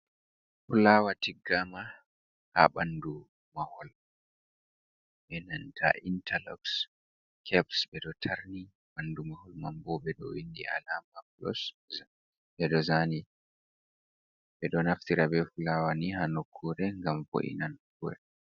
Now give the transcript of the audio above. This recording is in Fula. Fulawa tiggama ha bandu mahol. enanta intarlox caps be do tarni ɓandu mahol manbo ɓe ɗo windi amala plus ɓeɗo zaani ɓe ɗo naftira be fulawa ni ha nokkure ngam vo’inan.